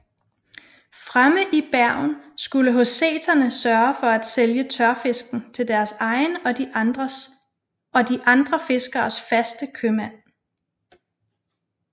Fremme i Bergen skulle håseterne sørge for at selge tørfisken til deres egen og de andre fiskeres faste købmand